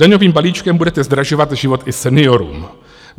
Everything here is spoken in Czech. Daňovým balíčkem budete zdražovat život i seniorům.